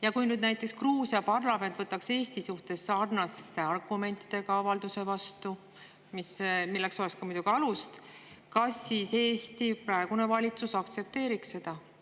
Ja kui nüüd näiteks Gruusia parlament võtaks Eesti kohta sarnaste argumentidega avalduse vastu, milleks oleks muidugi ka alust, kas siis Eesti praegune valitsus aktsepteeriks seda?